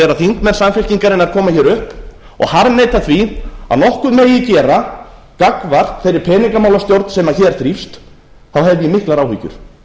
þegar þingmenn samfylkingarinnar koma hér upp og harðneita því að að nokkuð megi gera gagnvart þeirri peningamálastjórn sem hér þrífst hef ég miklar áhyggjur